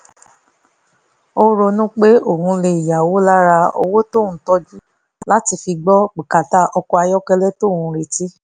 ó ronú pé òun lè yáwó lára owó tóun tọ́jú láti fi gbọ́ bùkátà ọkọ̀ ayọ́kẹ́lẹ́ tóun ò retí